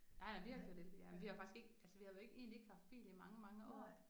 Nej nej vi har kørt elbil jamen vi har faktisk ikke altså vi har jo ikke egentlig ikke haft bil i mange mange år